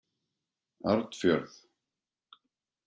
Arnfjörð